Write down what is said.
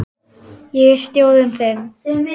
Ég er sjórinn þinn.